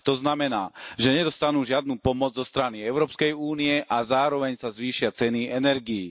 To znamená, že nedostanú žiadnu pomoc zo strany Európskej únie a zároveň sa zvýšia ceny energií.